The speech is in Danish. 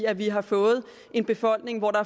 at vi har fået en befolkning hvor der